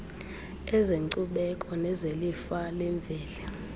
ezenkcubeko nezelifa lemveli